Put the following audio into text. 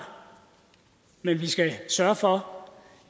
men vi skal sørge for